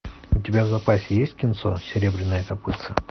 у тебя в запасе есть кинцо серебряное копытце